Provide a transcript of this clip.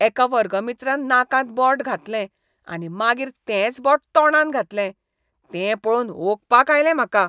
एका वर्गमित्रान नाकांत बोट घातलें आनी मागीर तेंच बोट तोंडांत घातलें तें पळोवन ओंकपाक आयलें म्हाका.